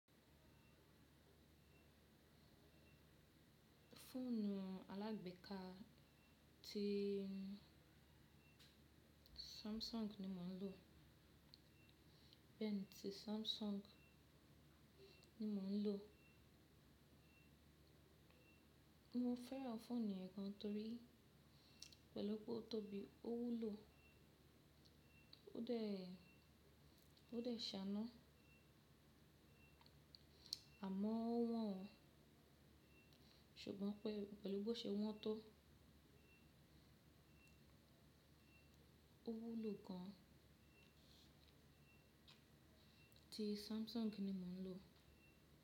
Fóònù alágbèká tí Samsung ni mò ń lò. Pen tí Samsung ni mò ń lò. Mo fẹ́ràn fóònù yẹn gan torí pẹ̀lú pó tóbí ó wúlò ó dẹ̀, ó dẹ̀ shaná. Àmọ́ ó wọ́n o, ṣùgbọ́n pé pẹ̀lú bó ṣe wọ́n tọ. Ó wúlò gan. Tí Samsung ni mò ń lò.